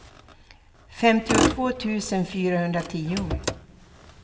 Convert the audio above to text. femtiotvå tusen fyrahundratio